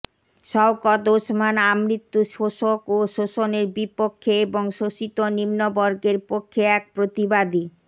শওকত ওসমান আমৃত্যু শোষক ও শোষণের বিপক্ষে এবং শোষিত নিম্নবর্গের পক্ষে এক প্রতিবাদী